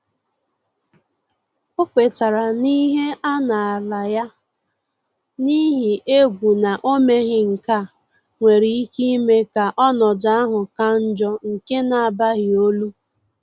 Ọ kwetere na ihe a naala ya, n’ihi egwu na omeghi nkea nwere ike ime ka ọnọdụ ahụ ka njọ nke na-abaghi olu